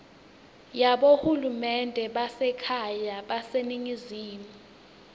yabohulumende basekhaya baseningizimu